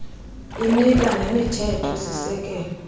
inika nemithetho sisekelo